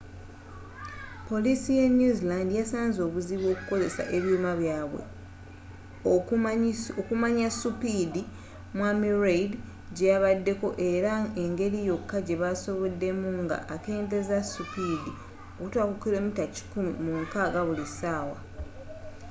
polisii ye new zealand yasanzze obuzibu okukozesa ebyuma byabwe okumanyi supidi mwami reid gyeyabaddeko era engeri yoka gyebasoboddemu nga akendezezza supidi okutuka ku kilomita kikumi mu nkagga buli sawa